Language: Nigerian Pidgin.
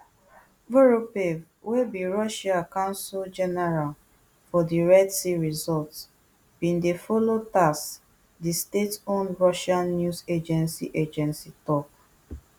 voropaev wey be russia consul general for di red sea resort bin dey follow tass di stateowned russian news agency agency tok